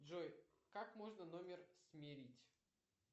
джой как можно номер смерить